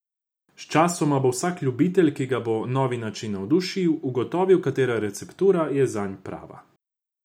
Sčasoma bo vsak ljubitelj, ki ga bo novi način navdušil, ugotovil, katera receptura je zanj prava.